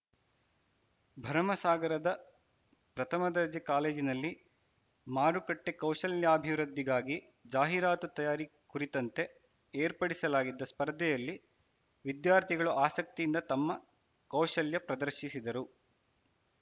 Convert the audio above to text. ಭರಮಸಾಗರದ ಪ್ರಥಮದರ್ಜೆ ಕಾಲೇಜಿನಲ್ಲಿ ಮಾರುಕಟ್ಟೆಕೌಶಲ್ಯಾಭಿವೃದ್ದಿಗಾಗಿ ಜಾಹೀರಾತು ತಯಾರಿ ಕುರಿತಂತೆ ಏರ್ಪಡಿಸಲಾಗಿದ್ದ ಸ್ಪರ್ಧೆಯಲ್ಲಿ ವಿದ್ಯಾರ್ಥಿಗಳು ಆಸಕ್ತಿಯಿಂದ ತಮ್ಮ ಕೌಶಲ್ಯ ಪ್ರದರ್ಶಿಸಿದರು